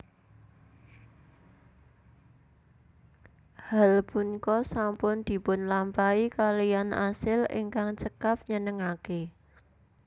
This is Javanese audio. Hal punka sampun dipunlampahi kaliyan asil ingkang cekap nyenengake